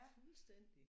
Fuldstændig